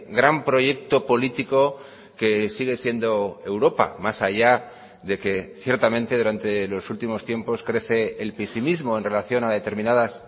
gran proyecto político que sigue siendo europa más allá de que ciertamente durante los últimos tiempos crece el pesimismo en relación a determinadas